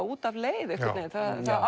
út af leið einhvern veginn það